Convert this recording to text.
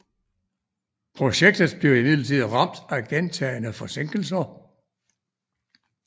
Projektet blev imidlertid ramt af gentagne forsinkelser